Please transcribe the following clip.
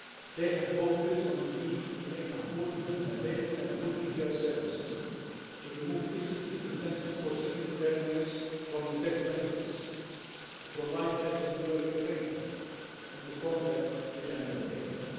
They have focussed on the need to offer affordable, available and quality care services, to remove fiscal disincentives for second earners from the tax benefit system, to provide flexible working arrangements and to combat the gender pay gap.